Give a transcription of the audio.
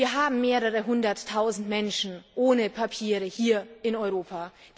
Wir haben mehrere Hunderttausend Menschen ohne Papiere hier in Europa.